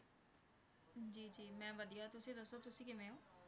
ਜੀ ਜੀ ਮੈਂ ਵਧੀਆ, ਤੁਸੀਂ ਦੱਸੋ ਤੁਸੀਂ ਕਿਵੇਂ ਹੋ?